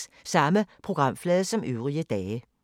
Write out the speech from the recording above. Samme programflade som øvrige dage